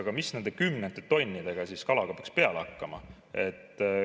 Aga mis nende kümnete tonnidega peaks siis peale hakkama?